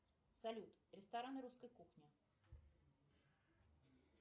салют рестораны русской кухни